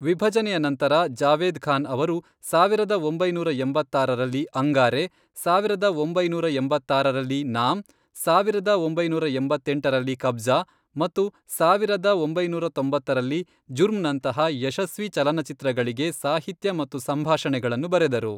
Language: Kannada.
ವಿಭಜನೆಯ ನಂತರ, ಜಾವೇದ್ ಖಾನ್ ಅವರು ಸಾವಿರದ ಒಂಬೈನೂರ ಎಂಬತ್ತಾರರಲ್ಲಿ, ಅಂಗಾರೆ, ಸಾವಿರದ ಒಂಬೈನೂರ ಎಂಬತ್ತಾರರಲ್ಲಿ ನಾಮ್, ಸಾವಿರದ ಒಂಬೈನೂರ ಎಂಬತ್ತೆಂಟರಲ್ಲಿ ಕಬ್ಜಾ ಮತ್ತು ಸಾವಿರದ ಒಂಬೈನೂರ ತೊಂಬತ್ತರಲ್ಲಿ ಜುರ್ಮ್ನಂತಹ ಯಶಸ್ವಿ ಚಲನಚಿತ್ರಗಳಿಗೆ ಸಾಹಿತ್ಯ ಮತ್ತು ಸಂಭಾಷಣೆಗಳನ್ನು ಬರೆದರು.